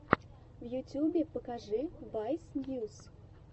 в ютубе покажи вайс ньюс